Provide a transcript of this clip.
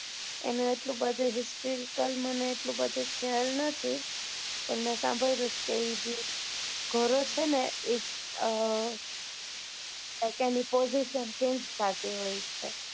એનું એટલું બધું histrical લાલ મને એટલું બધું ખ્યાલ નથ પણ મેં સાંભળેલું છે કે એ ગોરો છે ને એ અ કે તેની positionchange થતી હોય છે.